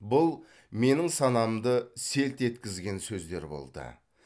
бұл менің санамды селт еткізген сөздер болды